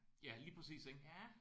Ja lige præcis ik?